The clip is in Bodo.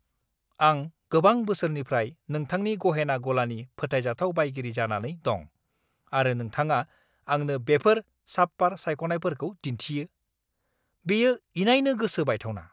आं गोबां बोसोरनिफ्राय नोंथांनि गहेना गलानि फोथायजाथाव बायगिरि जानानै दं, आरो नोंथाङा आंनो बेफोर साबपार सायख'नायफोरखौ दिन्थियो? बेयो इनायनो गोसो बायथावना!